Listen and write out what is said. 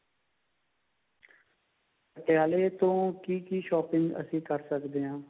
ਪਟਿਆਲੇ ਤੋਂ ਕਿ ਕਿ shopping ਅਸੀਂ ਕਰ ਸਕਦੇ ਹਾਂ